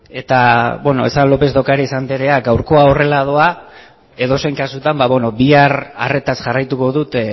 beno lópez de ocariz anderea gaurkoa horrela doa edozein kasutan bihar arretaz jarraituko dut